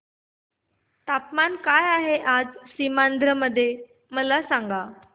तापमान काय आहे आज सीमांध्र चे मला सांगा